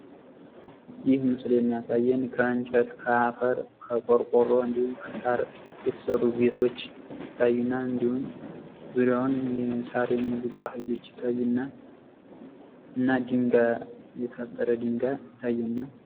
ይህ ምስል የሚያሳየን ከእንጨት፣ ከአፈር እንዲሁም ቆርቆሮ እንዲሁም ከሳር የተሰሩ ቤቶች ይታዩናል። እንዲሁም ዙሪያዉን ሳር የሚግጡ አህዮች ይታዩናል ፤ እና ድንጋይ ይታየናል።